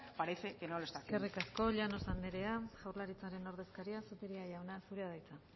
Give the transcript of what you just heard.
parece que no lo está haciendo eskerrik asko llanos anderea jaurlaritzaren ordezkaria zupiria jauna zurea da hitza